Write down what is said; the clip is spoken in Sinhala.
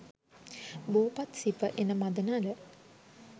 බෝපත් සිප එන මඳ නල